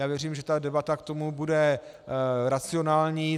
Já věřím, že ta debata k tomu bude racionální.